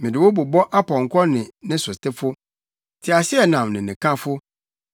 mede wo bobɔ ɔpɔnkɔ ne ne sotefo, teaseɛnam ne ne kafo,